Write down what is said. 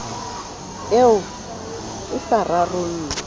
eo e sa rarollwe o